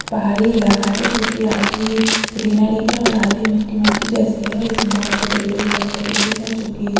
पहाड़ी इलाका है जो कि आधी ग्रीनरी है और आधी मिट्टी मिट्टी जैसी है इसमें बहुत बड़े-बड़े पत्थरे भी है जो कि--